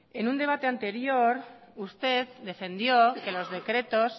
en un debate anterior usted defendió que los decretos